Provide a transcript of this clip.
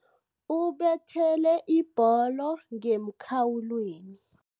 Ubethele ibholo ngemkhawulweni.